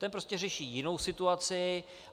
Ten prostě řeší jinou situaci.